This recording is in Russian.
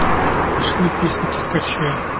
машины песенки скачай